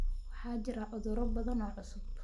Waxaa jira cudurro badan oo cusub.